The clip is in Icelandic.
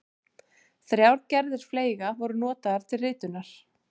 Þrjár gerðir fleyga voru notaðar til ritunar.